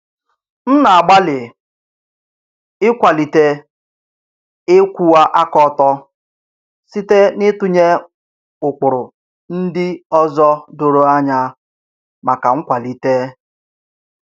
M na-agbalị ịkwalite ịkwụwa aka ọtọ site n'ịtụnye ụkpụrụ ndị ọzọ doro anya maka nkwalite.